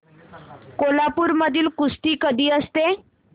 कोल्हापूर मध्ये कुस्ती कधी असते